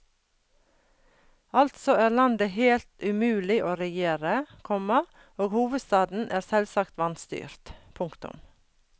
Altså er landet helt umulig å regjere, komma og hovedstaden er selvsagt vanstyrt. punktum